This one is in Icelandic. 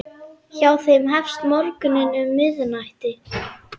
Hjá þeim hefst morgunn um miðnætti.